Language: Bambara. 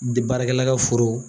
Bi baarakɛla ka foro